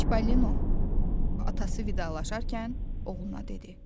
Çipollino atası vidalaşarkən oğluna dedi.